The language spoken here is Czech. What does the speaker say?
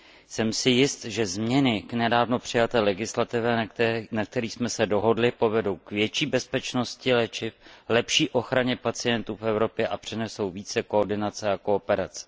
Jsem si jist, že změny k nedávno přijaté legislativě, na kterých jsme se dohodli, povedou k větší bezpečnosti léčiv, lepší ochraně pacientů v Evropě a přinesou více koordinace a kooperace.